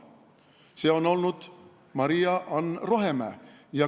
See on olnud Maria-Ann Rohemäe.